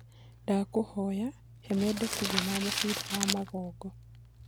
ndakũhoya he mendekithia ma mubira wa magongo